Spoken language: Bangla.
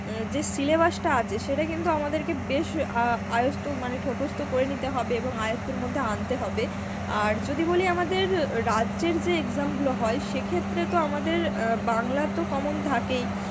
যে syllabus টা আছে সেটা কিন্তু আমাদের কে বেশ আ~ আয়ত্ত মানে ঠতস্থ করে নিতে হবে এবং আয়ত্তের মধ্যে আনতে হবে. আর যদি বলি আমাদের রাজ্যের যে exam গুলো হয় সেক্ষেত্রে তো আমাদের অ্যাঁ বাংলা তো common থাকেই